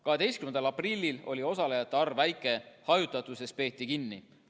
12. aprillil oli osalejate arv väike, hajutatusest peeti kinni.